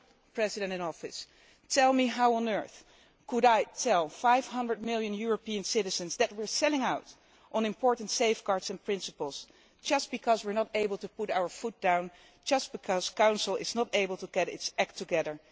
President in Office, tell me how on earth I can tell 500 million European citizens that we are selling out on important safeguards and principles just because we are not able to put our foot down, because Council is not able to get its act together.